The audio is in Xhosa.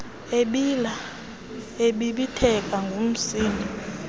ebila ebibitheka ngumsindo